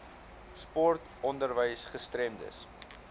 sport onderwys gestremdes